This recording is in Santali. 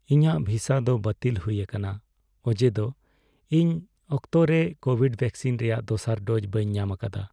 ᱤᱧᱟᱹᱜ ᱵᱷᱤᱥᱟ ᱫᱚ ᱵᱟᱹᱛᱤᱞ ᱦᱩᱭ ᱟᱠᱟᱱᱟ ᱚᱡᱮ ᱫᱚ ᱤᱧ ᱚᱠᱛᱚ ᱨᱮ ᱠᱳᱵᱷᱤᱰ ᱵᱷᱮᱠᱥᱤᱱ ᱨᱮᱭᱟᱜ ᱫᱚᱥᱟᱨ ᱰᱳᱡ ᱵᱟᱹᱧ ᱧᱟᱢ ᱟᱠᱟᱫᱟ ᱾